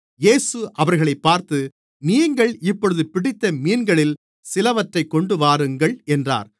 இயேசு அவர்களைப் பார்த்து நீங்கள் இப்பொழுது பிடித்த மீன்களில் சிலவற்றைக் கொண்டுவாருங்கள் என்றார்